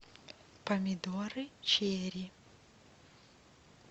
помидоры черри